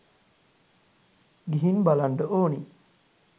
ගිහින් බලන්ඩ ඕනි